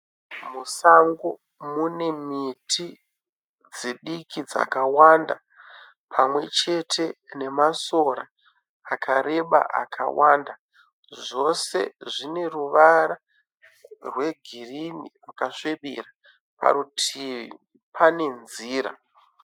Musango mune miti dzidiki dzakawanda pamwechete nemasora akareba akawanda zvose zvine ruvara rwegirini rwakasvibira parutivi pane nzira.